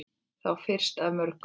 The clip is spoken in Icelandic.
Þá fyrstu af mörgum.